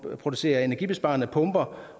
producerer energibesparende pumper